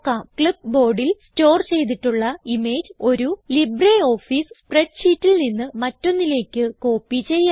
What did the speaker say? Clipboardൽ store ചെയ്തിട്ടുള്ള image ഒരു LibreOffice സ്പ്രെഡ് ഷീറ്റിൽ നിന്ന് മറ്റൊന്നിലേക്ക് കോപ്പി ചെയ്യാം